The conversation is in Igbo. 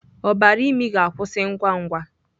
Ọbara imi ga-akwụsị ngwa ngwa.